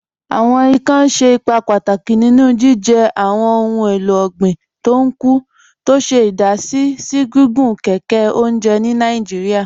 Awọn ìkàn ṣẹ̀ ìpà pátákì nínú jìjẹ́ awọn ohun èlò ọ̀gbin tó ń kú, tó ṣè idàsí sí gígùn kẹkẹ ọ̀njẹ̀ ni Nàìjíríà.